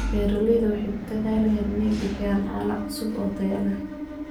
Beeraleydu waxay ku dadaalaan inay bixiyaan caano cusub oo tayo leh.